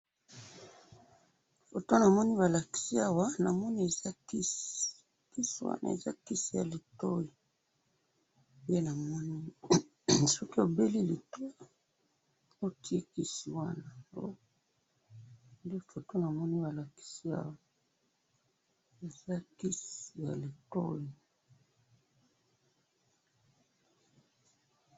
photo namoni balakisi awa namoni eza kisi kisiwana eza kisi yalitoyi soki obeli litoyi otiye kisi wana nalitoyi ndenamoni